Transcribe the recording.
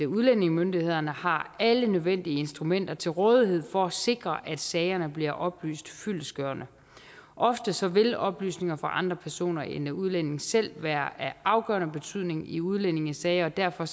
udlændingemyndighederne har alle nødvendige instrumenter til rådighed for at sikre at sagerne bliver oplyst fyldestgørende oftest vil oplysninger fra andre personer end udlændingen selv være af afgørende betydning i udlændingesager og derfor